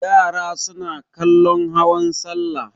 Yara suna kallon hawan salla.